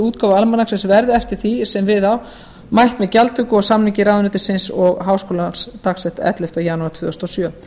útgáfu almanaksins verði eftir því sem við á mætt með gjaldtöku og samningi ráðuneytisins og háskólans dagsettu ellefta janúar tvö þúsund og sjö